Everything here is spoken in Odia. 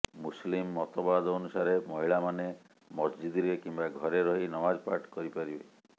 ମୁସଲିମ ମତବାଦ ଅନୁସାରେ ମହିଳାମାନେ ମସଜିଦରେ କିମ୍ବା ଘରେ ରହି ନମାଜ ପାଠ କରିପାରିବେ